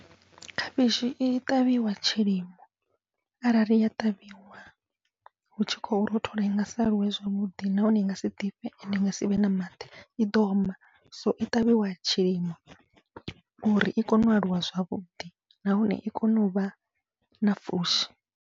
Khavhishi i ṱavhiwa tshilimo arali ya ṱavhiwa hu tshi khou rothola, i ngasi aluwe zwavhuḓi nahone i ngasi ḓifhe ende i nga sivhe na maḓi iḓo oma. So i ṱavhiwa tshilimo uri i kone u aluwa zwavhuḓi nahone i kone uvha na pfhushi.